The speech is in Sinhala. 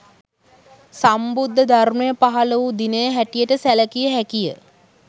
සම්බුද්ධ ධර්මය පහළ වූ දිනය හැටියට සැලකිය හැකිය